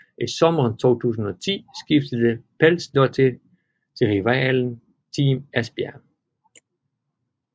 I sommeren 2010 skiftede Pálsdóttir til rivalen Team Esbjerg